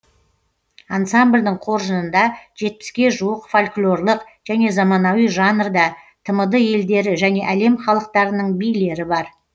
ансамбльдің қоржынында жетпіске жуық фольклорлық және заманауи жанрда тмд елдері және әлем халықтарының билері бар